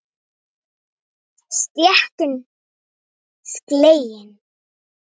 Stéttin slegin?